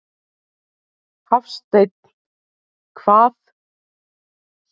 Hafsteinn: Eitthvað?